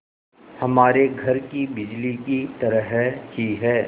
हमारे घर की बिजली की तरह ही है